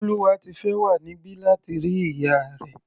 Bólúwátifẹ́ wà níbí láti rí ìyá rẹ̀.